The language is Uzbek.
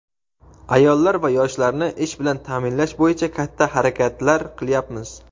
ayollar va yoshlarni ish bilan ta’minlash bo‘yicha katta harakatlar qilyapmiz.